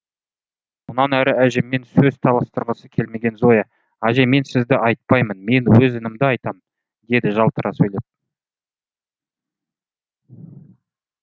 мұнан әрі әжеммен сөз таластырғысы келмеген зоя әже мен сізді айтпаймын мен өз інімді айтам деді жалтара сөйлеп